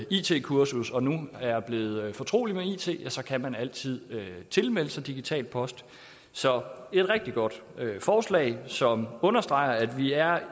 it kursus og nu er blevet fortrolig med it kan man altid tilmelde sig digital post så det er et rigtig godt forslag som understreger at vi er